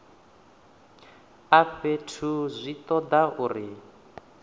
a fhethu zwi toda uri